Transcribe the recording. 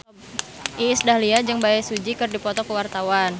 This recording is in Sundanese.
Iis Dahlia jeung Bae Su Ji keur dipoto ku wartawan